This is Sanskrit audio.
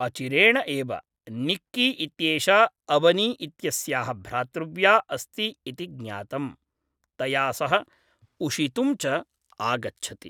अचिरेण एव, निक्की इत्येषा अवनी इत्यस्याः भ्रातृव्या अस्ति इति ज्ञातं, तया सह उषितुं च आगच्छति।